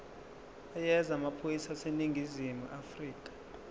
yezamaphoyisa aseningizimu afrika